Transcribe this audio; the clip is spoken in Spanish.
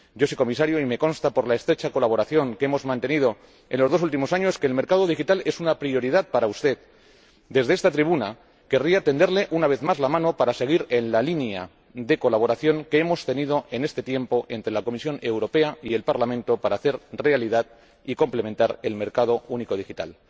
Yo sé, señor Comisario —y me consta por la estrecha colaboración que hemos mantenido en los dos últimos años—, que el mercado digital es una prioridad para usted. Desde esta tribuna querría tenderle, una vez más, la mano para seguir en la línea de colaboración que hemos tenido en este tiempo entre la Comisión Europea y el Parlamento para hacer realidad y completar el mercado único digital.